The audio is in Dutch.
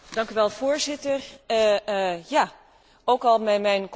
Mijn complimenten aan iedereen, maar toch had ik het graag ambitieuzer gezien.